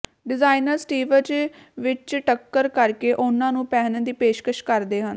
designers ਸਟੀਵਜ਼ ਵਿੱਚ ਟੱਕਰ ਕਰਕੇ ਉਨ੍ਹਾਂ ਨੂੰ ਪਹਿਨਣ ਦੀ ਪੇਸ਼ਕਸ਼ ਕਰਦੇ ਹਨ